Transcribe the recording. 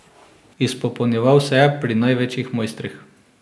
Izpopolnjeval se je pri največjih mojstrih.